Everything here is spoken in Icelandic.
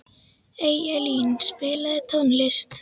Eyjalín, spilaðu tónlist.